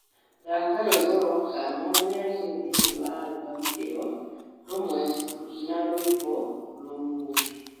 thaka rwĩmbo rwa kana rũrĩa rũrĩ thĩinĩ wa albamu ĩyo rũmwe na rwĩmbo rũu rũngĩ